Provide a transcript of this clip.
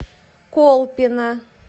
колпино